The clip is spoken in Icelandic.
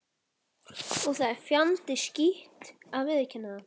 Og það er fjandi skítt að viðurkenna það.